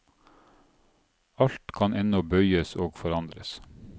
Alt kan ennå bøyes og forandres.